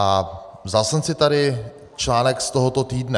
A vzal jsem si tady článek z tohoto týdne.